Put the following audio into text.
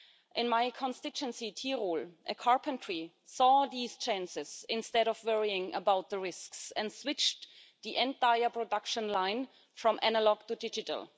In my constituency, Tyrol, a carpenter saw these chances, instead of worrying about the risks, and switched the entire production line from analogue to digital.